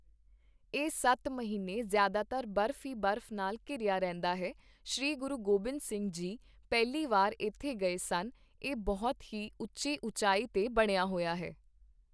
ਇਹ ਸੱਤ ਮਹੀਨੇ ਜ਼ਿਆਦਾਤਰ ਬਰਫ਼ ਈ ਬਰਫ਼ ਨਾਲ ਘਿਰਿਆ ਰਹਿੰਦਾ ਹੈ, ਸ਼੍ਰੀ ਗੁਰੂ ਗੋਬਿੰਦ ਸਿੰਘ ਜੀ ਪਹਿਲੀ ਵਾਰ ਇੱਥੇ ਗਏ ਸਨ ਇਹ ਬਹੁਤ ਹੀ ਉੱਚੀ ਉਚਾਈ 'ਤੇ ਬਣਿਆ ਹੋਇਆ ਹੈ